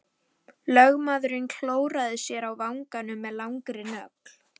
Lögmaðurinn klóraði sér á vanganum með langri nögl.